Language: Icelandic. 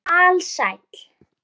Ég er alsæll.